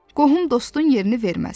Qohum dostun yerini verməz.